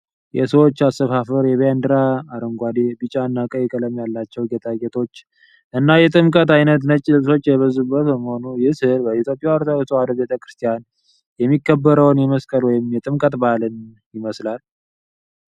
የሰዎች አሰፋፈር፣ የባንዲራ አረንጓዴ፣ ቢጫ እና ቀይ ቀለም ያላቸው ጌጣጌጦች እና የጥምቀት ዓይነት ነጭ ልብሶች የበዙበት በመሆኑ፣ ይህ ሥዕል በኢትዮጵያ ኦርቶዶክስ ተዋሕዶ ቤተ ክርስቲያን የሚከበረውን የመስቀል ወይም የጥምቀት በዓል ይመስላል።